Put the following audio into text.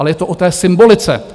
Ale je to o té symbolice.